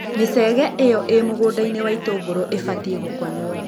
Micege ĩo ĩ mũgũndainĩ wa itũngũrũ ũbatiĩ gũkonywo.